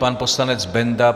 Pan poslanec Benda.